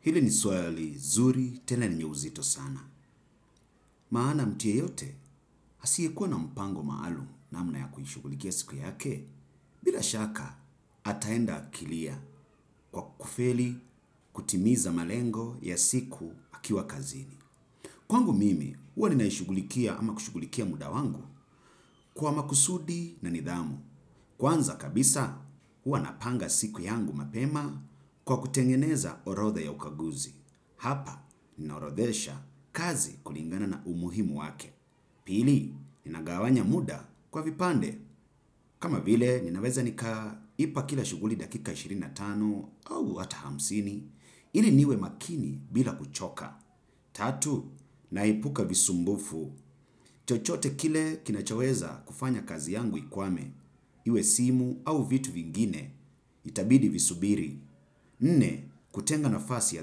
Hili ni swala lizuri tena lenye uzito sana. Maana mtu yeyote asiyekuwa na mpango maalumu namna ya kuishughulikia siku ya ke, bila shaka ataenda akilia kwa kufeli kutimiza malengo ya siku akiwa kazini. Kwangu mimi, huwa ninaishughulikia ama kushughulikia muda wangu kwa makusudi na nidhamu. Kwanza kabisa, huwa napanga siku yangu mapema kwa kutengeneza orotha ya ukaguzi. Hapa, ninaorodhesha kazi kulingana na umuhimu wake. Pili, nina gawanya muda kwa vipande. Kama vile, ninaweza nika ipa kila shughuli dakika ishirini na tano au hata hamsini, ili niwe makini bila kuchoka. Tatu, naepuka visumbufu. Chochote kile kinachoweza kufanya kazi yangu ikwame. Iwe simu au vitu vingine itabidi visubiri. Nne, kutenga nafasi ya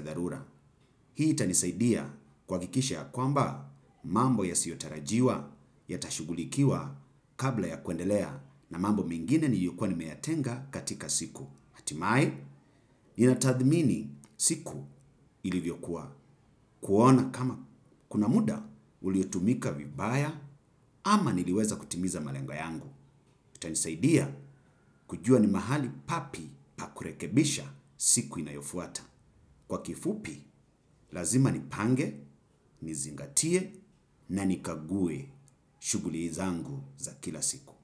dharura. Hii itanisaidia kuhakikisha ya kwamba mambo yasiotarajiwa, ya tashughulikiwa kabla ya kwendelea na mambo mengine niliyokuwa nimeyatenga katika siku. Hatimaye, nina tadhmini siku ilivyokuwa kuona kama kuna muda uliotumika vibaya ama niliweza kutimiza malengo yangu. Kutanisaidia kujua ni mahali papi pakurekebisha siku inayofuata. Kwa kifupi, lazima nipange, nizingatie na nikague shughuli zangu za kila siku.